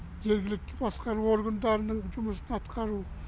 жергілікті басқару органдарының жұмысын атқару